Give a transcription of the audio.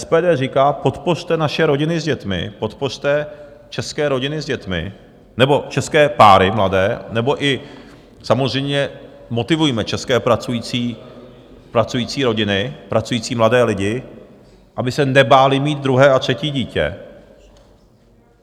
SPD říká: podpořte naše rodiny s dětmi, podpořte české rodiny s dětmi nebo české páry mladé nebo i samozřejmě motivujme české pracující rodiny, pracující mladé lidi, aby se nebáli mít druhé a třetí dítě.